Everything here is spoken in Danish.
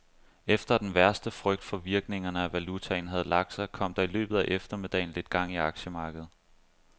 Efter at den værste frygt for virkningerne af valutaen havde lagt sig, kom der i løbet af eftermiddagen lidt gang i aktiemarkedet.